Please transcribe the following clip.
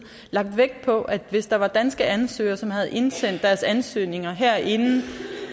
lagt vægt på at hvis der var danske ansøgere som havde indsendt deres ansøgning her inden